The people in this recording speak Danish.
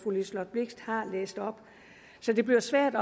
liselott blixt har læst op det bliver svært